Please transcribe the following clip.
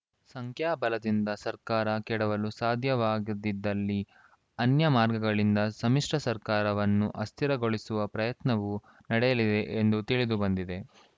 ಸಂಖ್ಯಾಬಲದಿಂದ ಸರ್ಕಾರ ಕೆಡವಲು ಸಾಧ್ಯವಾಗದಿದ್ದಲ್ಲಿ ಅನ್ಯ ಮಾರ್ಗಗಳಿಂದ ಸಮ್ಮಿಶ್ರ ಸರ್ಕಾರವನ್ನು ಅಸ್ಥಿರಗೊಳಿಸುವ ಪ್ರಯತ್ನವೂ ನಡೆಯಲಿದೆ ಎಂದು ತಿಳಿದುಬಂದಿದೆ